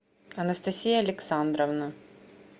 анастасия александровна